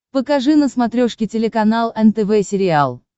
покажи на смотрешке телеканал нтв сериал